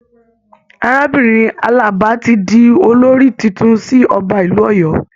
Arábìnrin Alaba tí di olórí títún sì ọba ìlú Ọ̀yọ́.